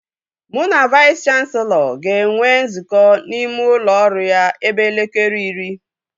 Mụ na Vais kanselọ ga-enwe nzukọ n'ime ụlọ ọrụ ya ebe elekere iri